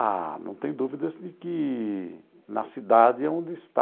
Ah, não tem dúvidas de que na cidade é onde está.